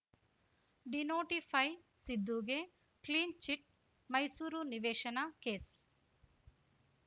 denotify ಸಿದ್ದುಗೆ clean chit Mysuru ನಿವೇಶನ case